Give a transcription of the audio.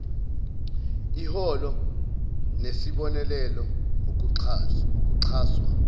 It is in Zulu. iholo nesibonelelo ukuxhaswa